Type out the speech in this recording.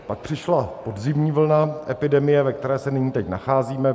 Pak přišla podzimní vlna epidemie, ve které se nyní, teď, nacházíme.